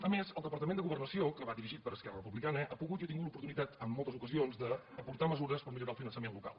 a més el departament de governació que va dirigit per esquerra republicana ha pogut i ha tingut l’oportunitat en moltes ocasions d’aportar mesures per millorar el finançament local